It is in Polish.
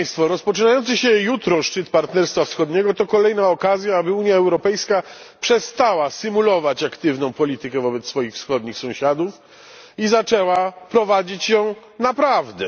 Rozpoczynający się jutro szczyt Partnerstwa Wschodniego to kolejna okazja, aby Unia Europejska przestała symulować aktywną politykę wobec swoich wschodnich sąsiadów i zaczęła prowadzić ją naprawdę.